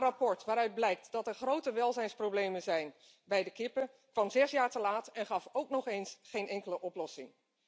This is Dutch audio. Haar rapport waaruit blijkt dat er grote welzijnsproblemen zijn bij de kippen kwam 6 jaar te laat en gaf ook nog eens geen enkele oplossing.